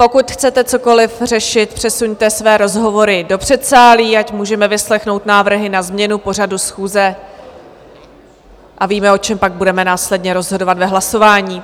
Pokud chcete cokoliv řešit, přesuňte své rozhovory do předsálí, ať můžeme vyslechnout návrhy na změnu pořadu schůze a víme, o čem pak budeme následně rozhodovat v hlasování.